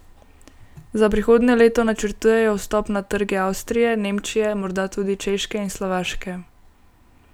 Za prihodnje leto načrtujejo vstop na trge Avstrije, Nemčije, morda tudi Češke in Slovaške.